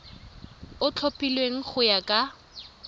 o tlhophilweng go ya ka